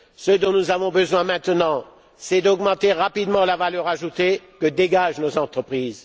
Ce dont nous avons besoin maintenant, c'est d'augmenter rapidement la valeur ajoutée que dégagent nos entreprises.